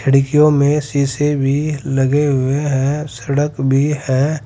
खिड़कियों में शीशे भी लगे हुए हैं सड़क भी है।